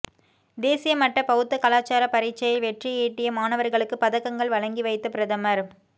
தேசிய மட்ட பௌத்த கலாசார பரீட்சையில் வெற்றியீட்டிய மாணவர்களுக்கு பதக்கங்கள் வழங்கி வைத்த பிரதமர்